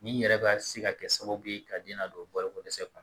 Ni yɛrɛ ka se ka kɛ sababu ye ka den na don balo ko dɛsɛ